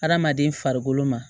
Hadamaden farikolo ma